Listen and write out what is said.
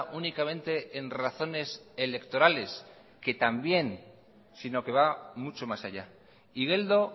únicamente en razones electorales que también sino que va mucho más allá igeldo